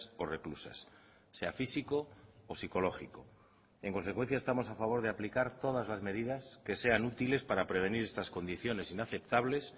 o reclusas sea físico o psicológico en consecuencia estamos a favor de aplicar todas las medidas que sean útiles para prevenir estas condiciones inaceptables